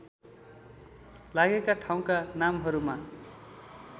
लागेका ठाउँका नामहरूमा